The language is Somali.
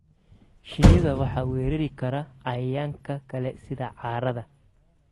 Shinnida waxaa weerari kara cayayaanka kale sida caarada.